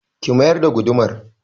Ki mayar da gudumar!